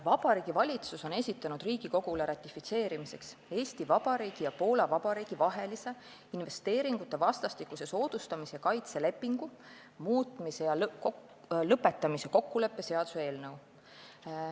Vabariigi Valitsus on esitanud Riigikogule ratifitseerimiseks Eesti Vabariigi ja Poola Vabariigi vahelise investeeringute vastastikuse soodustamise ja kaitse lepingu muutmise ja lõpetamise kokkuleppe ratifitseerimise seaduse eelnõu.